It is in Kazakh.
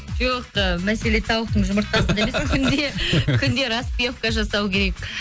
жоқ ы мәселе тауықтың жұмыртқасында емес күнде күнде распевка жасау керек